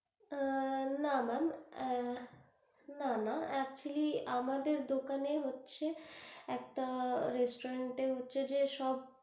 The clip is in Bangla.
আ আ না maam এ না না actually আমাদের দোকানে হচ্ছে একটা restaurant হচ্ছে যে সব,